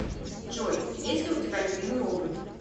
джой есть ли у тебя любимый робот